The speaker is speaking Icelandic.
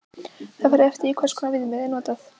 Það fer eftir því hvers konar viðmið er notað.